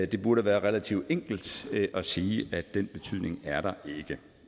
det burde være relativt enkelt at sige at den betydning er der ikke